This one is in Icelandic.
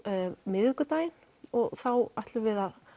miðvikudaginn og þá ætlum við að